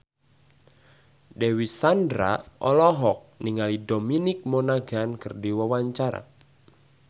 Dewi Sandra olohok ningali Dominic Monaghan keur diwawancara